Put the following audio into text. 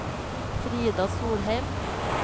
Frida Solheim